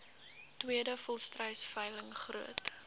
tweede volstruisveiling groot